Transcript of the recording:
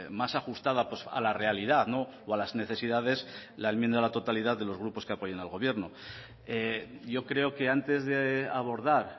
más ajustada a la realidad o a las necesidades la enmienda de la totalidad de los grupos que apoyan al gobierno y yo creo que antes de abordar